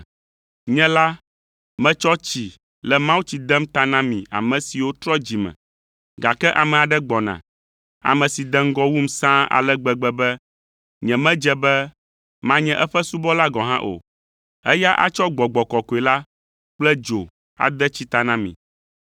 “Nye la, metsɔ tsi le mawutsi dem ta na mi ame siwo trɔ dzi me, gake ame aɖe gbɔna, ame si de ŋgɔ wum sãa ale gbegbe be nyemedze be manye eƒe subɔla gɔ̃ hã o. Eya atsɔ Gbɔgbɔ Kɔkɔe la kple dzo ade tsi ta na mi.